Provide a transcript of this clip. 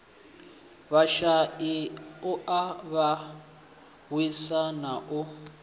vhashai u avhanyisa na u